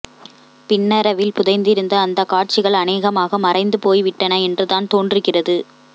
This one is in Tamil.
பின்னரவில் புதைந்திருந்த அந்த காட்சிகள் அநேகமாக மறைந்து போய்விட்டன என்று தான் தோன்றுகின்றது